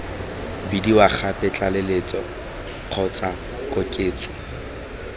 bidiwa gape tlaleletso kgotsa koketso